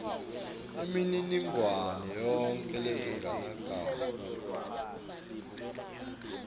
inemininingwane yonkhe ledzingekako